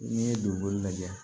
N'i ye donboli lajɛ